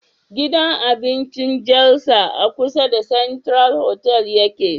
Gidan abincin jalsa a kusa da central hotal yake